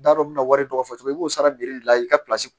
Da dɔ bɛ na wari dɔ fɔ cogo min i b'o sara bire de la i ka